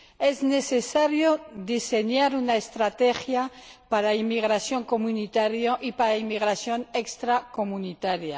Es necesario diseñar una estrategia para la inmigración comunitaria y para la inmigración extracomunitaria.